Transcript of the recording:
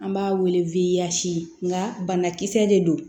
An b'a wele wiyazi nga banakisɛ de don